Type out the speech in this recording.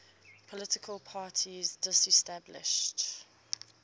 political parties disestablished